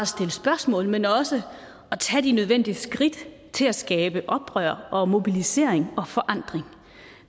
stille spørgsmål men også at tage de nødvendige skridt til at skabe oprør og mobilisering og forandring